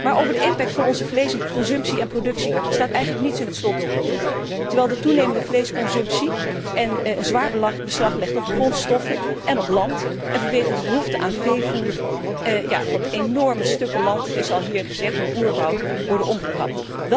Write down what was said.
Maar over de impact van onze vleesconsumptie en productie staat eigenlijk niets in het slotdocument, terwijl de toenemende vleesconsumptie zwaar beslag legt op de grondstoffen en op land en vanwege de behoefte aan veevoer op enorme stukken land, het is hier al gezegd, oerwouden worden omgekapt.